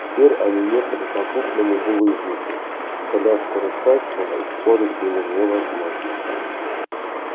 теперь они ехали по крупному булыжнику коляску раскачивало и спорить было невозможно